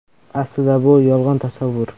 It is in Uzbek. Aslida bu yolg‘on tasavvur.